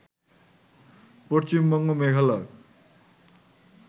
Paschimbanga, Meghalaya